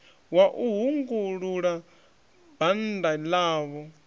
wa u hungulula bannda ḽavho